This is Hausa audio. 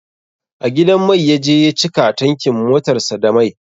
A gidan mai ya je ya cika tankin motar sa da mai